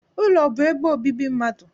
Ụlọ bụ ebe obibi mmadụ